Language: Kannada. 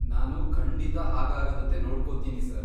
ನಾನು ಖಂಡಿತಾ ಹಾಗಾಗದಂತೆ ನೋಡ್ಕೋತೀನಿ ಸರ್.